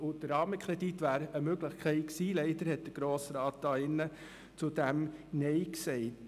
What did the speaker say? Der Rahmenkredit wäre eine Möglichkeit gewesen, doch leider hat der Grosse Rat diesen abgelehnt.